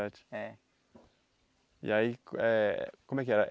É. E aí eh, como é que era?